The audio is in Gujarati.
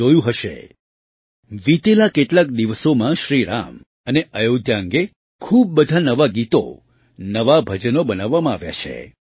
તમે જોયું હશે વિતેલા કેટલાક દિવસોમાં શ્રી રામ અને અયોધ્યા અંગે ખૂબ બધાં નવાં ગીતો નવાં ભજનો બનાવવામાં આવ્યાં છે